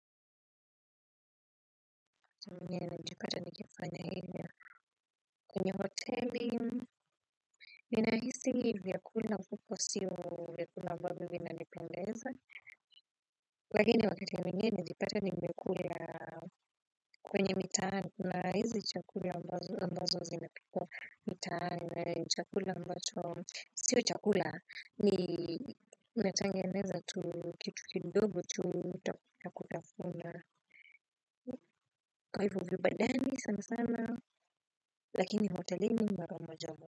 Nilijipata nikifanya hivyo kwenye hoteli. Ninahisi vyakula huko sio vyakula ambavyo vinadependeza. Lakini wakati mwingine nimejipata nimekula kwenye mitaani kuna hizi chakula ambazo zina pikwa mitaani na ni chakula ambacho sio chakula ni imetengenezwa tu kitu kidodgo tu cha kutafuna. Kwa hivyo vibandani sana sana, lakini hotelini mara moja moja.